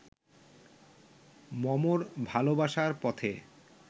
মমর ভালোবাসার পথে